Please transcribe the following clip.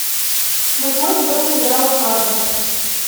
восьмой сезон сериала фарго